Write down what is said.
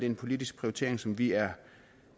en politisk prioritering som vi er